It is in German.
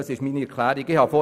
Soweit meine Erklärung.